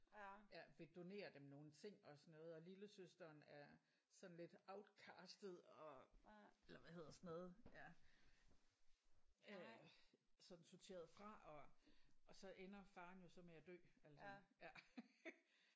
Ja vil donere dem nogle ting og sådan noget og lillesøsteren er sådan lidt outcastet og eller hvad hedder sådan noget ja øh sådan sorteret fra og og så ender faren jo så med at dø altså ja